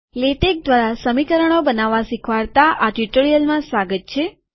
LaTeX દ્વારા સમીકરણો બનાવવા શીખવાડતા આ ટ્યુ્ટોરીઅલમાં સ્વાગત છે